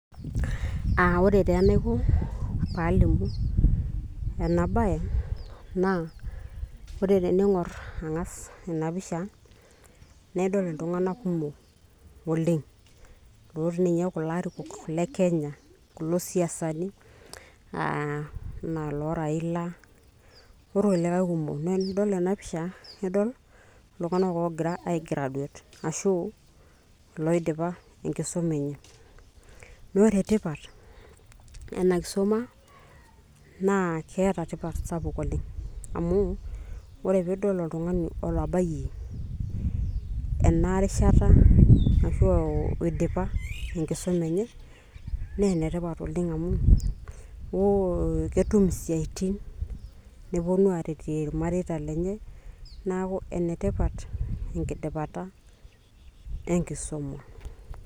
uh, ore taa enaiko paalimu ena baye naa ore tening'orr ang'as ena pisha naidol iltung'anak kumok oleng' lotii ninye kulo arikok le kenya kulo siasani uh, enaa loo Raila orkulikae kuumok naa enidol ena pisha naidol iltung'anak oogira ae graduate ashu loidipa enkisuma enye naa ore tipat ena kisuma naa keeta tipat sapuk oleng' amu ore piidol oltung'ani otabayie ena rishata ashu oidipa enkisuma enye naa enetipat oleng' amu oh, ketum isiaitin neponu aretie ilmareita lenye neeku enetipat enkidipata enkisuma.